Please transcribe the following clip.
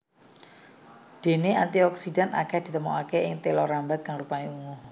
Déné antioksidan akèh ditemokaké ing téla rambat kang rupané ungu